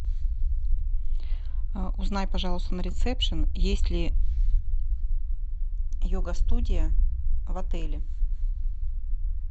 узнай пожалуйста на ресепшн есть ли йога студия в отеле